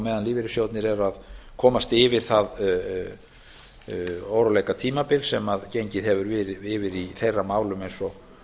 meðan lífeyrissjóðirnir eru að komast yfir það óróleikatímabil sem gengið hefur yfir í þeirra málum eins og